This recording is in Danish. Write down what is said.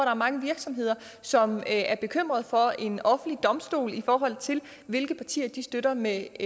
er mange virksomheder som er bekymrede for at vi får en offentlig domstol i forhold til hvilke partier de støtter med